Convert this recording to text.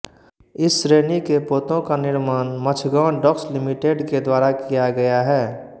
इस क्षेणी के पोतों का निर्माण मझगाँव डॉक्स लिमिटेड के द्वारा किया गया है